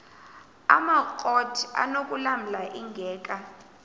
amakrot anokulamla ingeka